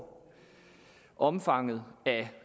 omfanget af